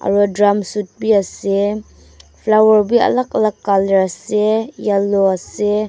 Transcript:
aro drum suit bi ase flower bi alak alak colour ase yellow ase.